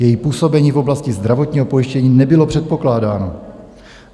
Její působení v oblasti zdravotního pojištění nebylo předpokládáno.